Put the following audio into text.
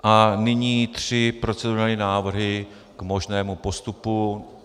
A nyní tři procedurální návrhy k možnému postupu.